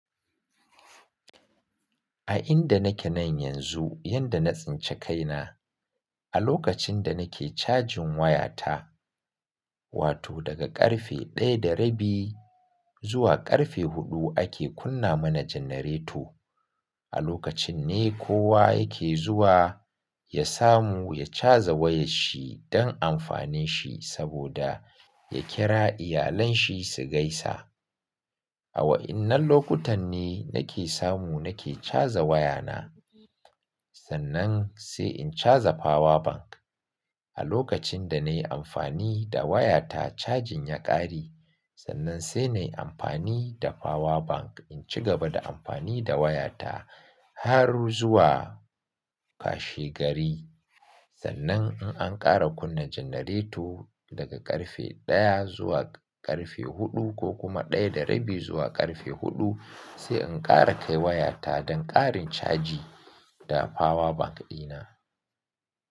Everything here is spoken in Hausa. A inda nake nan yanzu, yadda na tsince kaina, a lokacin da nake cajin wayata, wato daga ƙarfe 1:30 zuwa ƙarfe 4 ake kunna mana janareto. A lokacin ne kowa yake zuwa ya samu ya caza wayar shi don amfanin shi saboda ya kira iyalanshi su gaisa. A wa'innan lokutan ne nake samu nake caza wayana. Sannan sai in caza power bank. A lokacin da na yi amfani da wayata cajin ya ƙare, sannan sai na yi amfani da power bank in ci gaba da amfani da wayata har zuwa washe gari. Sannan in an ƙara kunna janareto daga ƙarfe 1 zuwa ƙarfe 4 ko kuma 1:30 zuwa ƙarfe 4, sai in ƙara kai wayata don ƙarin caji da power bank ɗina.